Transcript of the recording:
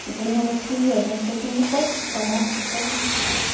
типа ну вот серьёзно если ты не хочешь то можешь уходить